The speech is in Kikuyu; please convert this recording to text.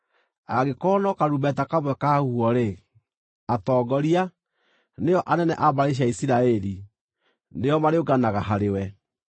Angĩkorwo no karumbeta kamwe kahuhwo-rĩ, atongoria, nĩo anene a mbarĩ cia Isiraeli, nĩo marĩũnganaga harĩwe.